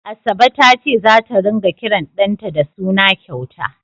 Asabe ta ce zata ringa kiran ɗanta da suna kyauta.